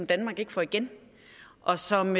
danmark ikke får igen og som